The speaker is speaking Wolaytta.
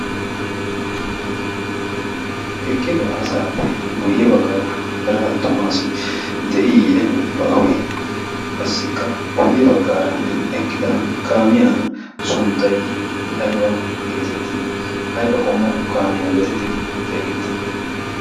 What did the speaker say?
eqqida asaappe guyye baggaara heraa tumaasi de'iiye baawe? qassikka guyye baggaara eqqida kaamiyaa sunttay ayba geetettii ayba qommo kaamiyaa geetettidi xeegettii?